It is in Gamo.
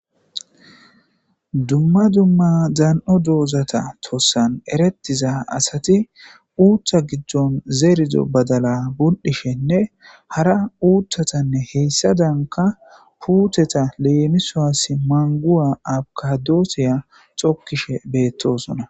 dumma dumma dan7o doozata tossan erettiza asati uuttha giddon zeerizo badala bul7ishenne hara uuthatanne heyssa danka puuteta leemisoas manguwa abkadoosiya xokkishe beettoosona